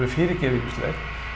fyrirgefið ýmislegt